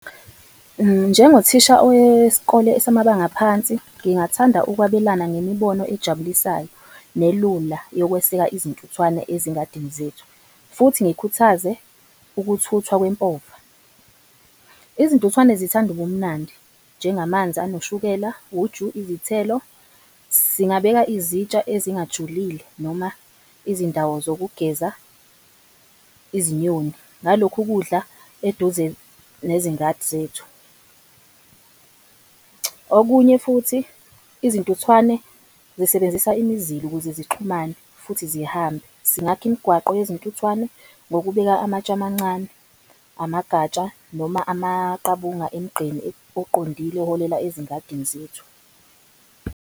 Njengothisha oweskole samabanga phansi, ngingathanda ukwabelana ngemibono ajabulisayo nelula yokweseka izintuthwane ezingadini zethu futhi ngikhuthaze ukuthuthwa kwempova. Izintuthwane zithanda ubumnandi, njengamanzi anoshukela, uju, izithelo. Singabeka izitsha ezingajulile noma izindawo zokugeza izinyoni ngalokhu ukudla eduze nezingadi zethu. Okunye futhi izintuthwane zisebenzisa imizila ukuze zixhumane futhi zihambe singakha imigwaqo yezintuthwane ngokubeka amatsha amancane, amagatsha noma amaqabunga emigqeni oqondile oholela ezingadini zethu.